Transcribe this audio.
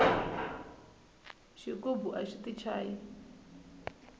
xigubu axi ti chayi